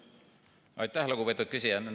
Aitäh, lugupeetud küsija!